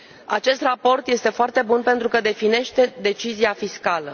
Acest raport este foarte bun pentru că definește decizia fiscală